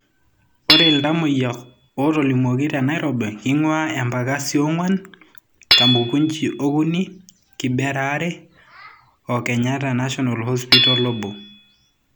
Ore ltamoyia otolimuoki te Nairobi keingua, Embakasi(4),Kamukunji(3),kibera(2) o KNH(1).